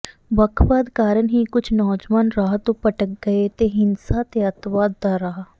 ਵੱਖਵਾਦ ਕਾਰਨ ਹੀ ਕੁਝ ਨੌਜਵਾਨ ਰਾਹ ਤੋਂ ਭਟਕ ਗਏ ਤੇ ਹਿੰਸਾ ਤੇ ਅੱਤਵਾਦ ਦਾ ਰਾਹ